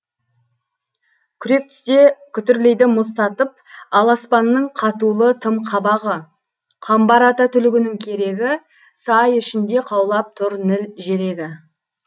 күрек тісте күтірлейді мұз татып ал аспанның қатулы тым қабағы қамбар ата түлігінің керегі сай ішінде қаулап тұр ніл желегі